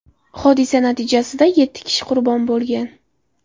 Hodisa natijasida yetti kishi qurbon bo‘lgan.